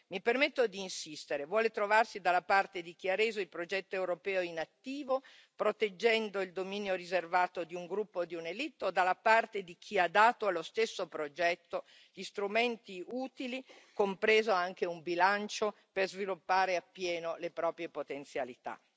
Mi permetto di insistere, vuole trovarsi dalla parte di chi ha reso il progetto europeo in attivo, proteggendo il dominio riservato di un gruppo o di una élite o dalla parte di chi ha dato allo stesso progetto gli strumenti utili, compreso anche un bilancio per sviluppare appieno le proprie potenzialità?